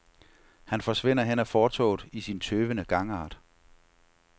Han forsvinder hen ad fortovet i sin tøvende gangart.